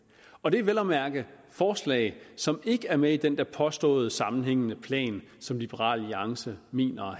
og det er vel at mærke forslag som ikke er med i den der påståede sammenhængende plan som liberal alliance mener